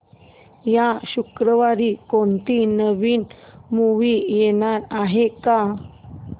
या शुक्रवारी कोणती नवी मूवी येणार आहे का